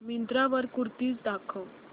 मिंत्रा वर कुर्तीझ दाखव